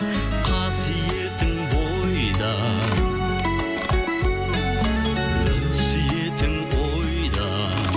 қасиетің бойда өсиетің ойда